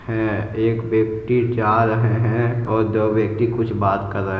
हैं। एक व्यक्ति जा रहे हैं और दो व्यक्ति कुछ बात कर रहे --